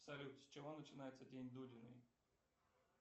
салют с чего начинается день дуриной